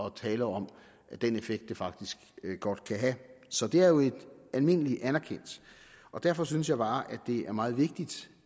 at tale om den effekt det faktisk godt kan have så det er jo almindelig anerkendt derfor synes jeg bare at det er meget vigtigt